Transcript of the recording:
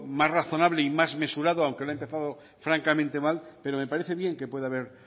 más razonable y más mesurado aunque lo ha empezado francamente mal pero me parece bien que pueda haber